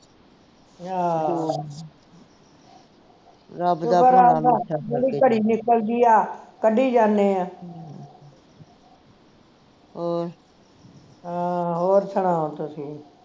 ਆਹ ਜਿਹੜੀ ਘੜੀ ਨਿਕਲਦੀ ਆ ਕੱਢੀ ਜਾਨੇ ਆ ਹਾਂ ਹੋਰ ਸੁਣਾਓ ਤੁਸੀਂ ਵੀ